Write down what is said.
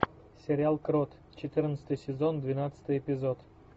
сериал крот четырнадцатый сезон двенадцатый эпизод